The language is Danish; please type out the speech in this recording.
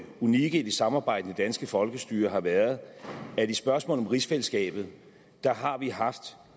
unikke i det samarbejdende danske folkestyre har været at i spørgsmål om rigsfællesskabet har vi haft